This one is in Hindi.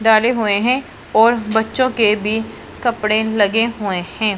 डाले हुए हैं और बच्चों के भी कपड़े लगे हुए हैं।